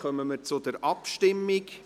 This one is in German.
Dann kommen wir zur Abstimmung.